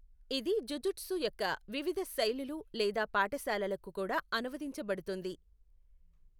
ఇది జుజుత్సు యొక్క వివిధ శైలులు లేదా పాఠశాలలకు కూడా అనువదించబడుతుంది.